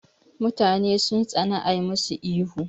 Mutane sun tsana a masu ihu